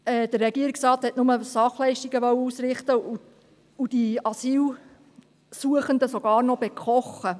Der Regierungsrat wollte nur Sachleistungen ausrichten und die Asylsuchenden sogar noch bekochen.